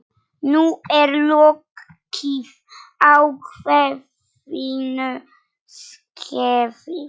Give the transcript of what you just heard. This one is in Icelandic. Nú er lokið ákveðnu skeiði.